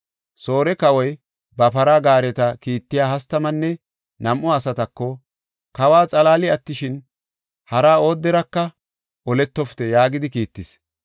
Soore kawoy ba para gaareta kiittiya hastamanne nam7u asatako, “Kawa xalaali attishin, hara ooderaka oletofite” yaagidi kiittis.